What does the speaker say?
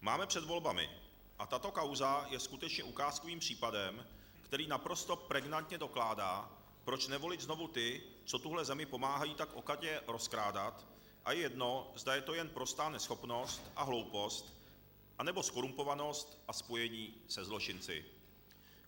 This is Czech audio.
Máme před volbami, a tato kauza je skutečně ukázkovým příkladem, který naprosto pregnantně dokládá, proč nevolit znovu ty, co tuhle zemi pomáhají tak okatě rozkrádat, a je jedno, zda je to jen prostá neschopnost a hloupost, anebo zkorumpovanost a spojení se zločinci.